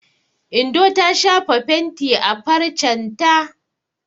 Indo ta shafa fenti a farcen ta.